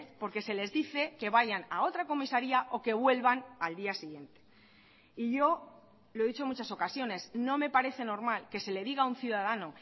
porque se les dice que vayan a otra comisaría o que vuelvan al día siguiente y yo lo he dicho en muchas ocasiones no me parece normal que se le diga a un ciudadano